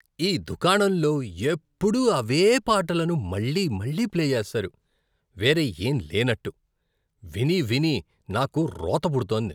ఈ దుకాణంలో ఎప్పుడూ అవే పాటలను మళ్లీ మళ్లీ ప్లే చేస్తారు, వేరే ఏం లేనట్టు. వినీ వినీ నాకు రోత పుడుతోంది.